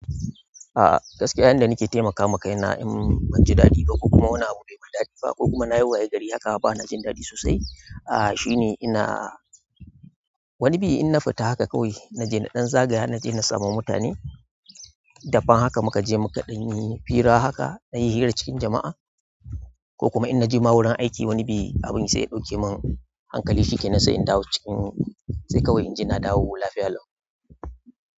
A'a gaskiya yan da nake taimakawa kaina in banji daɗi ba ko kuma wani abu bai bai mi. Daɗi ba ko kuma na yi waye gari haka bana jin daɗi sosai. A'a shine ina wani biyu in na fita haka kawai naje naɗan zagaya naje na samu mutane, daban haka muka je muka ɗan yi hira haka na yi hira cikin jama'a ko kuma in naje ma wurin aiki wani biy abin sai ya ɗauke mun hankali shikenan sai in dawo cikin sai kawai inji na duwo lafiya lau.